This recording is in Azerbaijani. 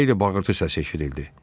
Bir xeyli bağırtı səs eşidildi.